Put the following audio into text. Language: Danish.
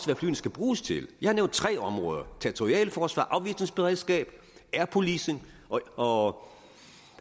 hvad flyene skulle bruges til jeg har nævnt tre områder territorialt forsvar og afvisningsberedskab air policing og